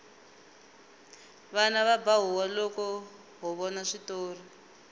vana va ba huwa loko ho vona switori